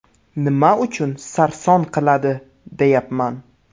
Nima uchun sarson qiladi, deyapman.